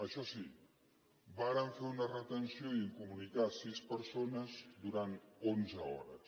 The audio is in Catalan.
això sí varen fer una retenció i incomunicar sis persones durant onze hores